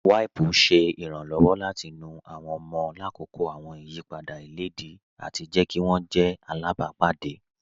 Wípùú ṣẹ̀ ìrànlọ́wọ̀ láti nú àwọn ọ̀mọ̀ làkọ́kọ́ àwọn ìyìpadà ilẹ̀díì ati jẹ̀ kí wọn jẹ̀ àlábàpádé.